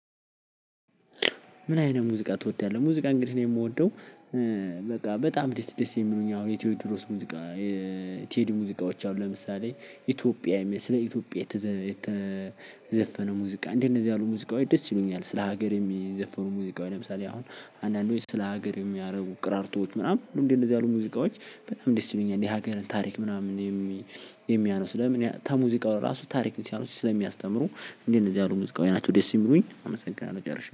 ምን አይነት ሙዚቃ ትወዳለህ? ሙዚቃ እንግዲህ እኔ የምወደው በቃ በጣም ደስ ደስ የሚሉኝ አሁን የቴዎድሮስ ሙዚቃ ቴድ ሙዚቃዎች አሉ። ለምሳሌ ኢትዮጵያ ስለ ኢትዮጵያ የተዘፈነ ሙዚቃ እንደነዚህ ያሉ ሙዚቃዎች ደስ ይሉኛል። ስለ ሀገር የሚዘፈኑ ሙዚቃዎች ለምሳሌ አሁን አንዳንዶች ስለ ሀገር የሚያደርጉ ቅራርቶች ምናምን እንደዚህ እንደዚህ አሉ ሙዚቃዎች በጣም እንዴት እንደሚሆን የሀገርን ታሪክ ምናምን። የሚያነሱ ለምን ተሙዚቃው ለራሱ ታሪክ ሲያነሱ ስለሚያስተምሩ እንደ እነዚህ አይነት ሙዚቃወይ ናቸው። ደስ የሚሉኝ አመሰግናለሁ ጨርሻለሁ